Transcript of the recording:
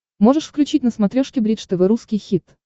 можешь включить на смотрешке бридж тв русский хит